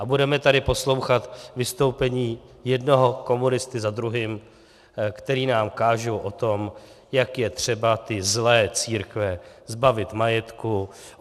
A budeme tady poslouchat vystoupení jednoho komunisty za druhým, kteří nám kážou o tom, jak je třeba ty zlé církve zbavit majetku.